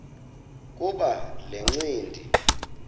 kuba le ncindi